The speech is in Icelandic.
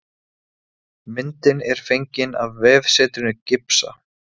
Eyrarsveit átti marga sérstæða og athyglisverða menn, hvern á sínu sviði.